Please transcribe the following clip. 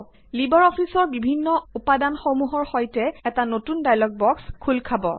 Libre অফিচৰ বিভিন্ন উপাদানসমূহৰ সৈতে এটা নতুন ডায়লগ বক্স খোল খাব